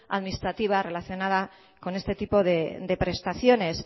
administrativa relacionada con este tipo de prestaciones